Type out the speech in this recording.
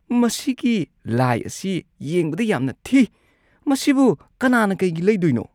ꯃꯁꯤꯒꯤ ꯂꯥꯢ ꯑꯁꯤ ꯌꯦꯡꯕꯗ ꯌꯥꯝꯅ ꯊꯤ꯫ ꯃꯁꯤꯕꯨ ꯀꯅꯥꯅ ꯀꯩꯒꯤ ꯂꯩꯗꯣꯏꯅꯣ?